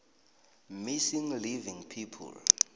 missing living people